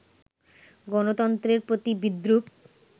গণতন্ত্রের প্রতি বিদ্রুপ